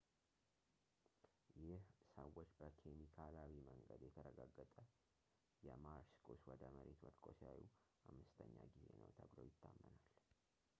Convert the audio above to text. ይህ ሰዎች በኬሚካላዊ መንገድ የተረጋገጠ የማርስ ቁስ ወደ መሬት ወድቆ ሲያዩ ዐምስተኛ ጊዜ ነው ተብሎ ይታመናል